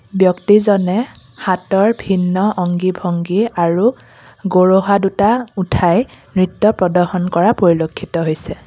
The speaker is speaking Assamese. ব্যক্তিজনে হাতৰ ভিন্ন অংগি ভংগি আৰু গৰহা দুটা উঠাই নৃত্য প্ৰদৰ্শন কৰা পৰিলক্ষিত হৈছে।